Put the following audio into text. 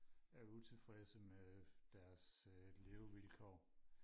er utilfredse med deres levevilkår